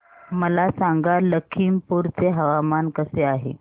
मला सांगा लखीमपुर चे हवामान कसे आहे